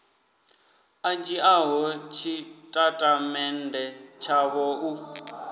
a dzhiaho tshitatamennde tshavho u